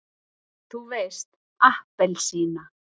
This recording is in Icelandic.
þú veist APPELSÍNA!